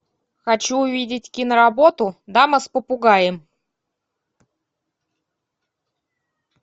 хочу увидеть киноработу дама с попугаем